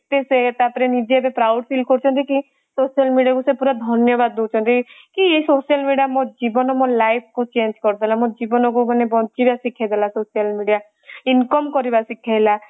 ସେ ମାନେ ସେ ନିଜେ ଏବେ proud feel କରୁଛନ୍ତି କି social media କୁ ସେ ପୁରା ଧନ୍ୟବାଦ ଦୋଉଛନ୍ତି କି social media ମୋ ଜୀବନ ମୋ life କୁ change କରିଦେଲା ମୋ ଜୀବନ କୁ ମାନେ ବଞ୍ଚିବା ଶିଖେଇଦେଲା social media income କରିବା ଶିଖେଇଲା